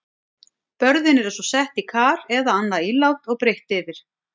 Börðin eru svo sett í kar eða annað ílát og breitt yfir.